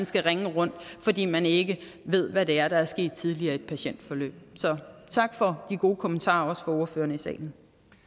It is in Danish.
skal ringe rundt fordi man ikke ved hvad der der er sket tidligere i et patientforløb så tak for de gode kommentarer fra ordførerne i salen